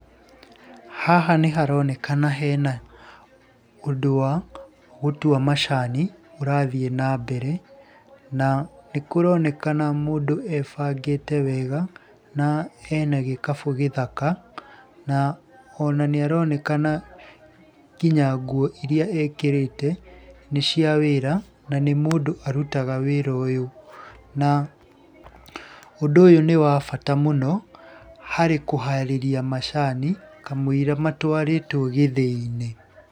Haha nĩ haronekana hena ũndũ wa gũtua macani, ũrathiĩ na mbere na nĩ kũronekana mũndũ ebangĩte wega, na ena gĩkabũ gĩthaka, na ona nĩ aronekana nginya nguo irĩa ekĩrĩte, nĩ cia wĩra na nĩ mũndũ arutaga wĩra ũyũ. Na ũndũ ũyũ nĩ wa bata mũno, harĩ kũharĩria macani, kamũira matwarĩtwo gĩthĩi-inĩ.